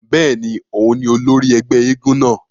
Bẹ́ẹ̀ni, oùn ni ólòri ẹgbẹ èègún náa